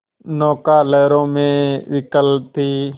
नौका लहरों में विकल थी